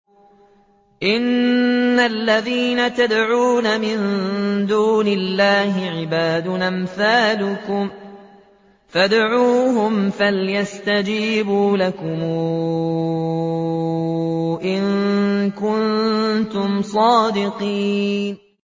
إِنَّ الَّذِينَ تَدْعُونَ مِن دُونِ اللَّهِ عِبَادٌ أَمْثَالُكُمْ ۖ فَادْعُوهُمْ فَلْيَسْتَجِيبُوا لَكُمْ إِن كُنتُمْ صَادِقِينَ